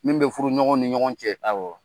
Min bɛ furu ɲɔgɔn ni ɲɔgɔn cɛ; Awɔ!